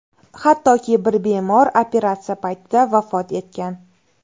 Hattoki bir bemor operatsiya paytida vafot etgan.